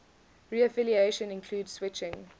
reaffiliation include switching